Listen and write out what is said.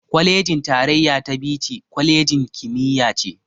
Kwalejin tarayya ta Bichi, kwalejin kimiyya ce.